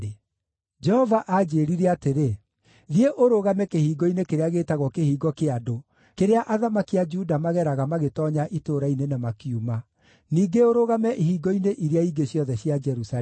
Jehova aanjĩĩrire atĩrĩ: “Thiĩ ũrũgame kĩhingo-inĩ kĩrĩa gĩĩtagwo kĩhingo kĩa andũ, kĩrĩa athamaki a Juda mageraga magĩtoonya itũũra-inĩ na makiuma; ningĩ ũrũgame ihingo-inĩ iria ingĩ ciothe cia Jerusalemu.